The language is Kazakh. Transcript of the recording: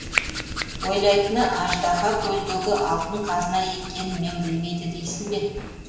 ойлайтыны аждаһа көлдегі алтын қазына екенін мен білмейді дейсің бе